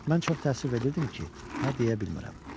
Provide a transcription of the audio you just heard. Mən çox təəssüf edirdim ki, hə deyə bilmirəm.